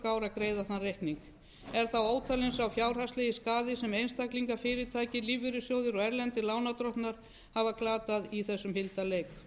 að greiða þann reikning er þá ótalinn sá fjárhagslegi skaði sem einstaklingar fyrirtæki lífeyrissjóðir og erlendir lánardrottnar hafa glatað í þessum hildarleik